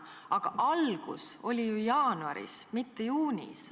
Aga algus oli ju jaanuaris, mitte juunis.